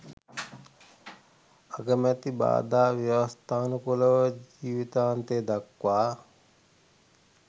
අගමැති බාධා ව්‍යවස්ථානුකූලව ජීවිතාන්තය දක්වා